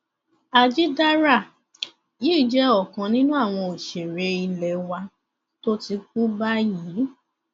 àjìdára yìí jẹ ọkan nínú àwọn òṣèré ilé wa tó ti kú báyìí